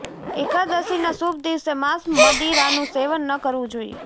એકાદશીના શુભ દિવસે માંસ મદીરાનું સેવન ન કરવું જોઈએ